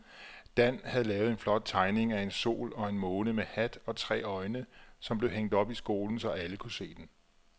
Dan havde lavet en flot tegning af en sol og en måne med hat og tre øjne, som blev hængt op i skolen, så alle kunne se den.